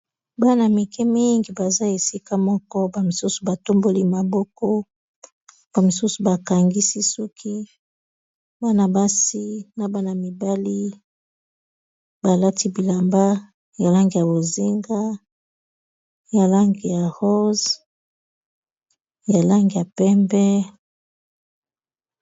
bana mike mingi baza esika moko bamisusu batomboli maboko bamisusu bakangisi soki bana basi na bana mibali balati bilamba ya lang ya bozinga ya lange ya ros ya lang ya pembe